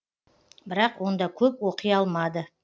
бірақ онда көп оқи алмады